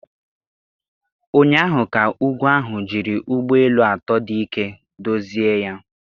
Ụnyaahụ ka ugwu ahụ jiri ụgbọ elu atọ dị ike dozie ya